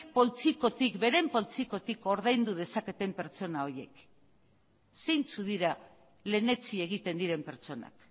beren poltsikotik ordaindu dezaketen pertsona horiek zeintzuk dira lehentsi egiten diren pertsonak